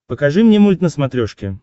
покажи мне мульт на смотрешке